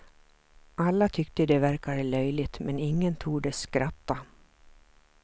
Alla tyckte det verkade löjligt, men ingen tordes skratta.